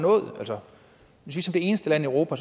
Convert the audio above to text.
det eneste land i europa